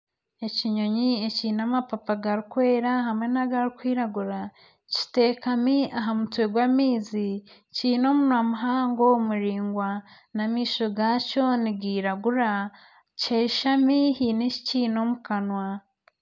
Ekinyonyi ekiine amapapa garikwera hamwe n'agarikwiragura kiteekami aha mutwe gw'amaizi kiine omunwa muhango muraingwa n'amaisho gaakyo nigairagura. Kyashami haine eki kiine omu kanwa.